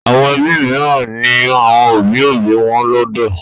Àwọn ẹbí mìíràn ní àwọn òbí-òbí wọn lọ́dọ̀.